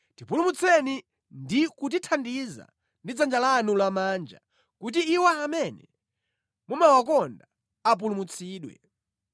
Tipulumutseni ndi kutithandiza ndi dzanja lanu lamanja kuti iwo amene mumawakonda apulumutsidwe.